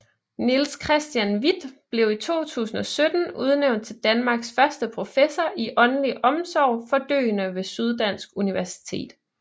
Niels Christian Hvidt blev i 2017 udnævnt til Danmarks første professor i åndelig omsorg for døende ved Syddansk Universitet